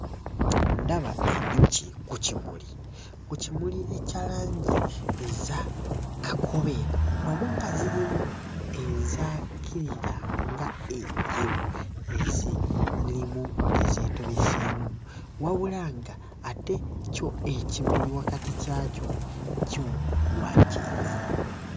Ndaba enjuki ku kimuli ku kimuli ekya langi eza kakobe wamu nga zirimu ezaakirira nga enjeru ezirimu ezeetobeseemu wabula ng'ate kyo ekimuli wakati kyakyo kyo wa kyenvu.